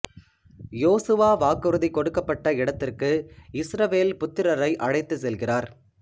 யோசுவா வாக்குறுதி கொடுக்கப்பட்ட இடத்திற்கு இஸ்ரவேல் புத்திரரை அழைத்துச் செல்கிறார்